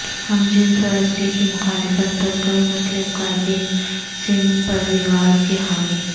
ہم جنس پرستی کی مخالفت پر کئی مسلم قائدین سنگھ پریوار کے حامی